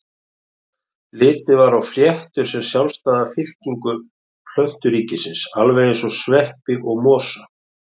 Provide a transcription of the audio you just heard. Litið var á fléttur sem sjálfstæða fylkingu plönturíkisins alveg eins og sveppi og mosa.